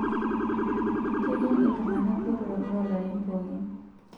Kejing' iltungana botorok loolarin pookin.